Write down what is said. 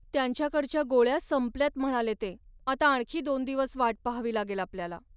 त्यांच्याकडच्या गोळ्या संपल्यात म्हणाले ते. आता आणखी दोन दिवस वाट पाहावी लागेल आपल्याला.